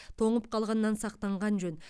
тоңып қалғаннан сақтанған жөн